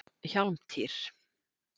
Hjálmtýr